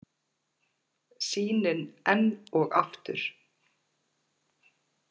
Sýnin enn og aftur.